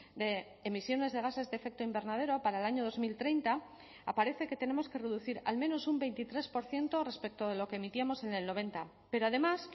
de emisiones de gases de efecto invernadero para el año dos mil treinta aparece que tenemos que reducir al menos un veintitrés por ciento respecto a lo que emitíamos en el noventa pero además